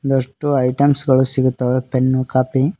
ಒಂದಷ್ಟು ಐಟಮ್ಸ್ ಗಳು ಸಿಗುತ್ತವೆ ಪೆನ್ನು ಕಾಪಿ--